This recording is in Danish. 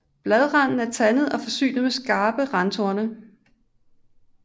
Bladranden er tandet og forsynet med skarpe randtorne